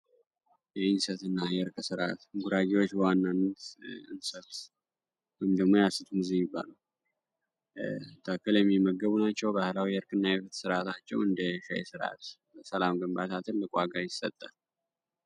የእንሰት እና የእርቅ ስርአት ጉራጌወች በዋናነት እንሰት ወይንም ደግሞ የስት ዘዴ ተክል የሚመገቡ ናቸዉ ። ባህላዊ የእርቅ እና የፍት ስራታቸዉ እንደ የሸይ ስራት ሰላም ግንባታ ትልበዠቅ ዋጋ ይሰጣል።